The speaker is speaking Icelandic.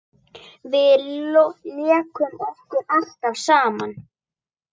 Við lékum okkur alltaf saman.